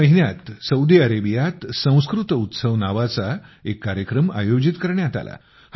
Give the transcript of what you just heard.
याच महिन्यात सौदी अरेबियात संस्कृत उत्सव नावाचा एक कार्यक्रम आयोजित करण्यात आला